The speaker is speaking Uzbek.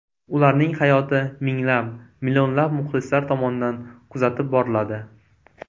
Ularning hayoti minglab, millionlab muxlislar tomonidan kuzatib boriladi.